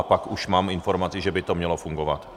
A pak už mám informaci, že by to mělo fungovat.